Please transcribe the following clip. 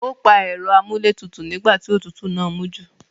Ó pa ẹ̀rọ amúlé tutù nígbà tí òtútù náà mú jù